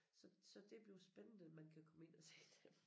Så så det bliver spændende man kan komme ind og se dem